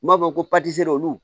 N b'a fɔ ko olu